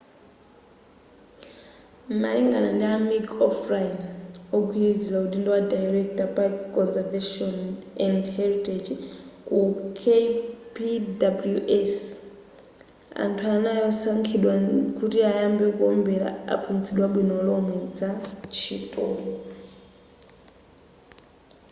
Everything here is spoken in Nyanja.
malinga ndi a mick o'flynn wogwilizila udindo wa director park conservation and heritage ku kpws anthu anayi osankhidwa kuti ayambe kuombela anaphunzitsidwa bwino lomwe za ntchitoyi